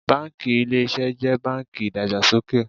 Báńkì Ilé Iṣẹ́ jẹ́ báńkì ìdàgbàsókè.